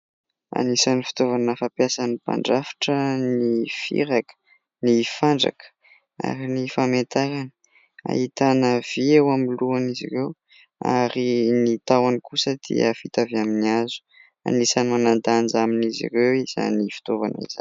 Anisany fitaovana fampiasany mpandrafitra : ny firaka, ny fandraka ary ny famentarany. Ahitana vy eo amin'ny lohan' izy ireo ary ny tahony kosa dia vita avy amin'ny hazo ; anisany manan-danja amin'izy ireo izany fitaovana izay.